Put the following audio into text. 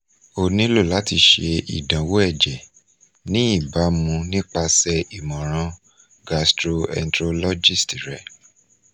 o nilo lati ṣe idanwo ẹjẹ ni ibamu nipase imọran gastroenterologist rẹ